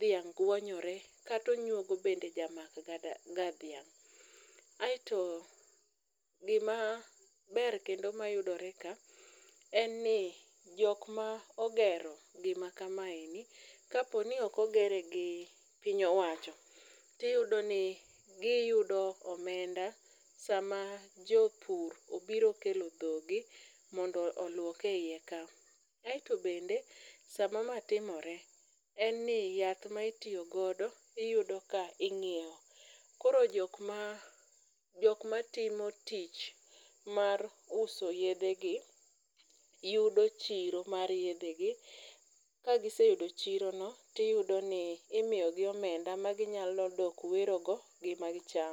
dhiang' guonyore kata onyuogo bende jamakga dhiang'. Aeto gimaber kendo mayudiore ka en ni jokma ogero gimakamaeni kaponi ok ogere gi piny owacho tiyudo ni giyudo omenda sama jopur obiro okelo dhogi mondo oluok e iye ka. Aeto bende sama ma timore en ni yath ma itiyogodo iyudo ka ing'ieo koro jokma timo tich mar uso yedhegi yudo chiro mar yedhegi kagiseyudo chirono tiyudo ni imiyogi omenda maginyalo dok werogo gi ma gichamo.